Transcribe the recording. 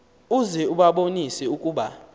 uze ubabonise ukuba